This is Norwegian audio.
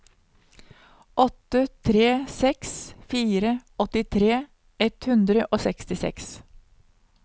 åtte tre seks fire åttitre ett hundre og sekstiseks